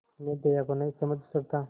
मैं दया को नहीं समझ सकता